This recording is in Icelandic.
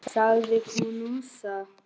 sagði ég hvumsa.